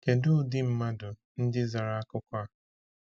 Kedu ụdị mmadụ ndị zara akụkọ a?